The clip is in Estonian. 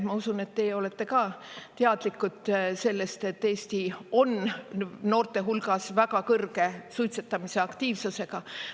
Ma usun, et teie olete ka teadlikud sellest, et Eesti on noorte hulgas väga kõrge suitsetamise aktiivsusega.